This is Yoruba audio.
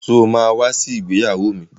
Sọ ma wá sí ìgbéyàwó mi?